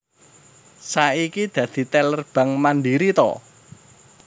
Saiki dadi teller Bank Mandiri to?